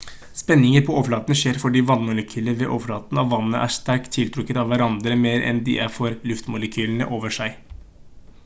spenninger på overflaten skjer fordi vannmolekyler ved overflaten av vannet er sterkt tiltrukket av hverandre mer enn de er for luftmolekylene over seg